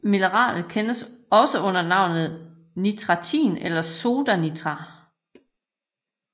Mineralet kendes også under navnet nitratin eller soda niter